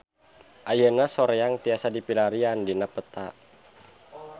Ayeuna Soreang tiasa dipilarian dina peta